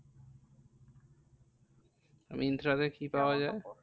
মিন্ত্রাতে কি পাওয়া যায়?